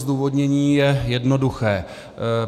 Zdůvodnění je jednoduché.